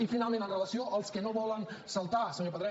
i finalment amb relació als que no volen saltar senyor pedret